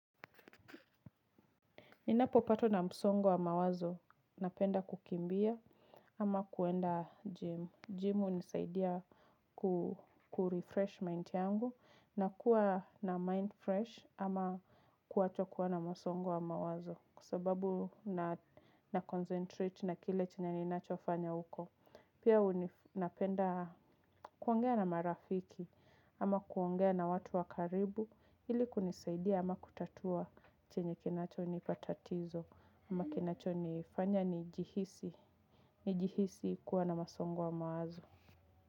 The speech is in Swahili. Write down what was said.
Ninapopatwa na msongo wa mawazo, napenda kukimbia ama kwenda gym. Gym hunisaidia kurefresh mind yangu na kuwa na mind fresh ama kuacha kuwa na msongo wa mawazo. Kwa sababu naconcentrate na kile chenye ninachofanya huko. Pia napenda kuongea na marafiki ama kuongea na watu wa karibu. Ili kunisaidia ama kutatua chenye kinachonipa tatizo ama kinachonifanya nijihisi nijihisi kuwa na msongo wa mawazo.